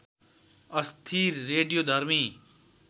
अस्थिर रेडियोधर्मी